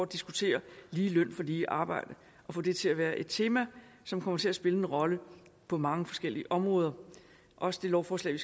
diskutere lige løn for lige arbejde og få det til at være et tema som kommer til at spille en rolle på mange forskellige områder også det lovforslag